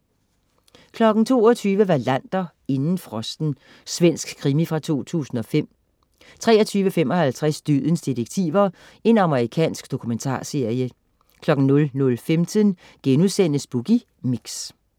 22.00 Wallander: Inden frosten. Svensk krimi fra 2005 23.55 Dødens detektiver. Amerikansk dokumentarserie 00.15 Boogie Mix*